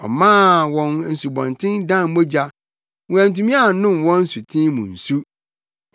Ɔmaa wɔn nsubɔnten dan mogya; wɔantumi annom wɔn nsuten mu nsu.